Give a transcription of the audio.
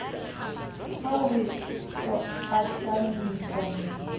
ha o re o ahlamisa